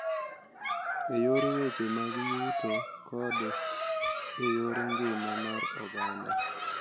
e yor weche mag yuto kod e yor ngima mar oganda.